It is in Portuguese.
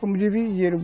Vamos dividir